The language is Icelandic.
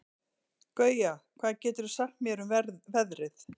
Gauja, hvað geturðu sagt mér um veðrið?